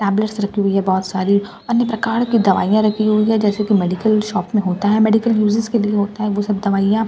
tablets रखी हुई है बहुत सारी अन्य प्रकार की दवाईयां रखी हुई हैं जैसे की मेडिकल शॉप में होता है मेडिकल यूसेज के लिए होता है वो सब दवाइयाँ इफ --